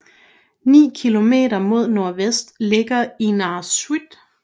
Ni km mod nordvest ligger Innaarsuit